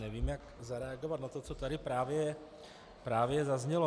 Nevím, jak zareagovat na to, co tady právě zaznělo.